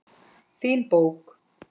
Fín bók.